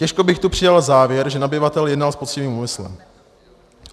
Těžko bych tu přijal závěr, že nabyvatel jednal s poctivým úmyslem.